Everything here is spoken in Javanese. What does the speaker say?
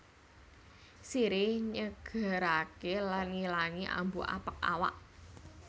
Sirih nyegeraké lan ngilangi ambu apek awak